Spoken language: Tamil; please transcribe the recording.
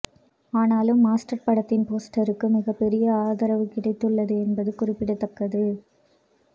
ஆனாலும் மாஸ்டர் படத்தின் போஸ்டருக்கு மிகப்பெரிய ஆதரவு கிடைத்துள்ளது என்பது குறிப்பிடத்தக்கது